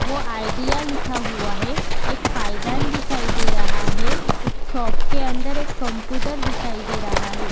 वो आइडिया लिखा हुआ है एक पायदान दिखाई दे रहा है शॉप के अंदर एक कम्प्युटर दिखाई दे रहा है।